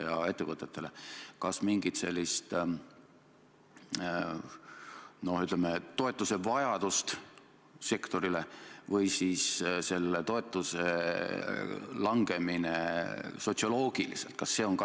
Kas te kaalute mingit sellist, ütleme, mõne sektori toetamise vajadust või siis seda, kuidas toetuse langemine sotsioloogiliselt mõjub?